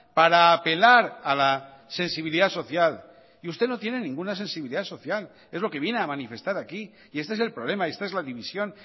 para apelar a la sensibilidad social y usted no tiene ninguna sensibilidad social es lo que viene a manifestar aquí y este es el problema y esta es la división